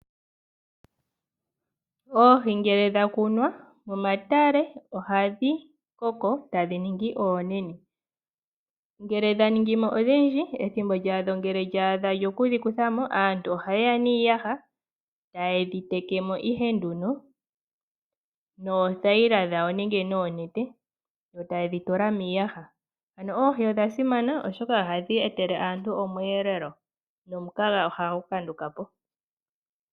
Oohi ngele dhakunwa momatale ohadhi koko tadhi ningi oonene ngele dhaningi mo odhindji, eethimbo dhalyo ngele lyaadha dhokudhi kuthamo aantu ohayeya niiyaha eta yedhi tekemo noothayila dhawo nenge noonete yo taye dhi tula miiyaha ano oohi odhasiman oshoka ohadhi etele aantu omweelelo nomukaga ohagu kandukapo.